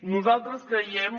nosaltres creiem